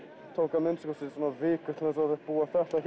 tók að minnsta kosti viku að búa þetta